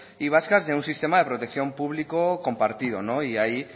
y vascas y a un sistema de protección público compartido ahí